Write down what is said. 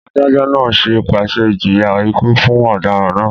Adájọ́ náà pàṣẹ ìjìyà ikú fún ọ̀daràn náà